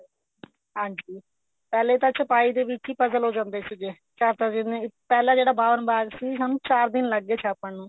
ਹਾਂਜੀ ਪਹਿਲੇ ਤਾਂ ਛਪਾਈ ਦੇ ਵਿੱਚ ਹੀ puzzle ਹੋ ਜਾਂਦੇ ਸੀਗੇ ਚਾਰ ਚਾਰ ਦਿਨ ਪਹਿਲਾਂ ਜਿਹੜਾ ਬਾਵਨ ਬਾਗ ਸੀ ਉਹਨੂੰ ਚਾਰ ਦਿਨ ਲੱਗ ਗਏ ਛਾਪਣ ਨੂੰ